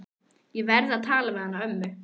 Ég verð að tala við hana ömmu.